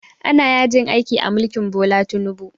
Ana yajin aiki a mulkin Bola Tinubu